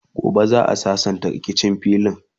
gobe za'a sassanta rikicin filin